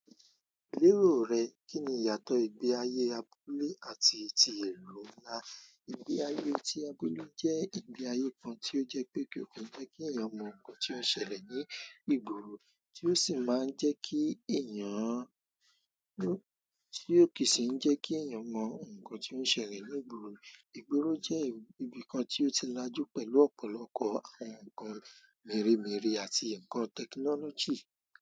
Lérò rẹ, kín ni ìyàtọ̀ ìgbé ayé abúlé àti ti ìlú ńlá? Ìgbé ayé tí abúlé jẹ́ ìgbé ayé kan tí ó jẹ́ pé kò ki i jẹ́ kí ẹ̀yàn mọ̀ nǹkan tí ó ń ṣẹlẹ̀ ní ìgboro, tí ó sì máa ń jẹ́ kí ẹ̀yàn ti o ki si n jeki eeyan mo nkan ti oun ṣẹlẹ̀ nínú igbooro. Ìgboro jẹ́ ibi kan tí ó ti lajú pẹ̀lú ọ̀pọ̀lọpọ̀ àwọn ǹkan mèremère àti ǹkan tẹkinọ́lọ́jì.